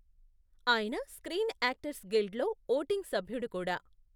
ఆయన screen actors గిల్డ్లో voting సభ్యుడు కూడా.